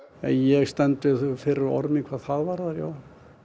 ég stend við fyrri orð mín hvað það varðar já